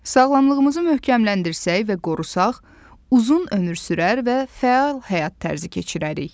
Sağlamlığımızı möhkəmləndirsək və qorusaq, uzun ömür sürər və fəal həyat tərzi keçirərik.